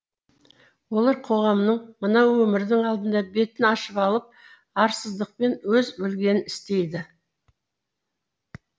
олар қоғамның мына өмірдің алдында бетін ашып алып арсыздықпен өз білгенін істейді